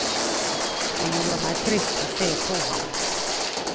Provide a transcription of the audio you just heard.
Det gjorde meg trist å se på ham.